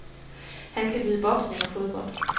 Han kan lide boksning og fodbold.